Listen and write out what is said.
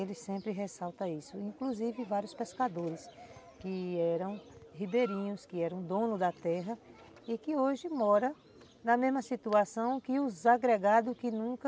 Eles sempre ressaltam isso, inclusive vários pescadores que eram ribeirinhos, que eram donos da terra e que hoje moram na mesma situação que os agregados que nunca